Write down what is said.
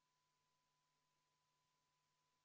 Kohalolijaks registreerus 60 Riigikogu liiget, puudub 41.